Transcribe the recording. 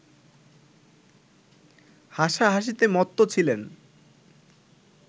হাসা-হাসিতে মত্ত ছিলেন